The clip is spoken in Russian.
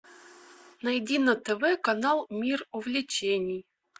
найди на тв канал мир увлечений